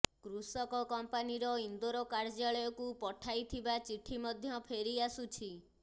କୃଷକ କମ୍ପାନୀର ଇନ୍ଦୋର କାର୍ଯ୍ୟାଳୟକୁ ପଠାଇଥିବା ଚିଠି ମଧ୍ୟ ଫେରିଆସୁଛି